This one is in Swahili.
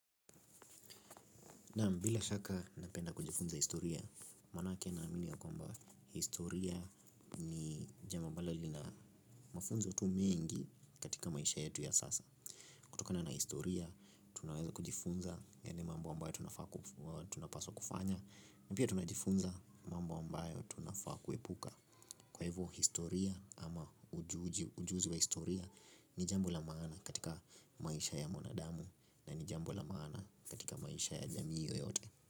Naam bila shaka napenda kujifunza historia, manake naamini ya kwamba historia ni jambo ambalo linamafunzo tu mingi katika maisha yetu ya sasa. Kutokana na historia, tunaweza kujifunza yani mambo ambayo tunapaswa kufanya na pia tunajifunza mambo ambayo tunafaa kuepuka. Kwa hivyo historia ama ujuzi wa historia ni jambo la maana katika maisha ya mwanadamu na ni jambo la maana katika maisha ya jamii yoyote.